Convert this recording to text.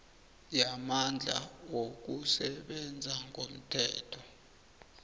yamandla wokusebenza ngomthetho